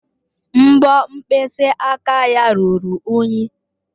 Mbọ mkpịsị aka ya ruru unyi?